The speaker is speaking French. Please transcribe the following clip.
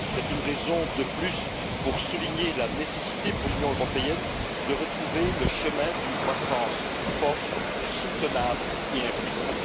C'est une raison de plus pour souligner la nécessité, pour l'Union européenne, de retrouver le chemin d'une croissance forte, soutenable et inclusive.